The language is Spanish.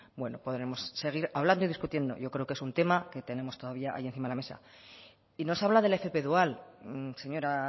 bueno podremos seguir hablando y discutiendo yo creo que es un tema que tenemos todavía ahí encima de la mesa y nos habla del fp dual señora